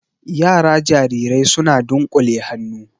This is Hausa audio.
Yara jarirai suna dunƙule hannu